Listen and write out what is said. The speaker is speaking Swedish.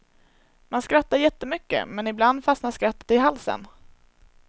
Man skrattar jättemycket men ibland fastnar skrattet i halsen.